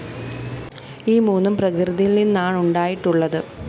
ഈ മൂന്നും പ്രകൃതിയില്‍ നിന്നാണുണ്ടായിട്ടുള്ളത്